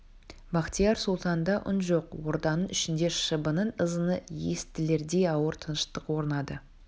бахтияр сұлтанда да үн жоқ орданың ішінде шыбынның ызыңы естілердей ауыр тыныштық орнады